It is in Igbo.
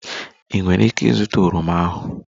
Ị nwere ike ịzụta oroma ahu?